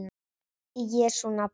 Í Jesú nafni amen.